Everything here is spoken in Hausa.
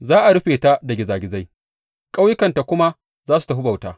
Za a rufe ta da gizagizai ƙauyukanta kuma za su tafi bauta.